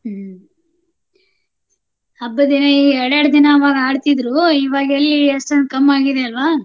ಹ್ಮ್ ಹಬ್ಬದ್ ಎರಡೇರ್ಡ್ ದಿನಾ ಅವಾಗ್ ಆಡ್ತಿದ್ರು. ಇವಾಗೆಲ್ಲಿ ಎಷ್ಟೊಂದ್ ಕಮ್ಮಿ ಆಗಿದೆ ಅಲ್ವಾ?